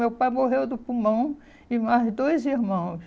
Meu pai morreu do pulmão e mais dois irmãos.